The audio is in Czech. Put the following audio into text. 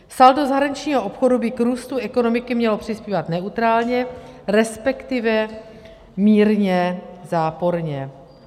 Saldo zahraničního obchodu by k růstu ekonomiky mělo přispívat neutrálně, respektive mírně záporně.